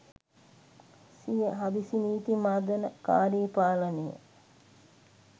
සිය හදිසි නීති මර්දනකාරී පාලනය